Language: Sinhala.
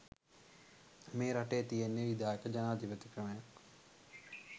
මේ රටේ තියෙන්නෙ විධායක ජනාධිපති ක්‍රමයක්.